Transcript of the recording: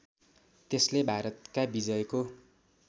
त्यसले भारतका विजयको